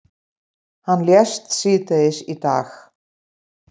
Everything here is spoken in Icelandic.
Hann lést síðdegis í dag.